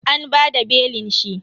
An bada belin shi.